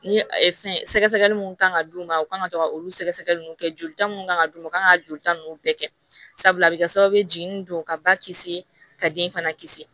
Ni fɛn sɛgɛsɛgɛli mun kan ka d'u ma u kan ka to ka olu sɛgɛsɛgɛliw kɛ jolita mun kan ka d'u ma u kan ka joli ta ninnu bɛɛ kɛ sabula a bɛ kɛ sababu ye jigini don ka ba kisi ka den fana kisi